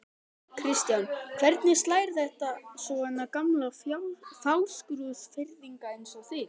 Kristján: Hvernig slær þetta svona gamla Fáskrúðsfirðinga eins og þig?